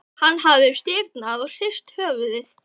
Hann hafði stirðnað og hrist höfuðið.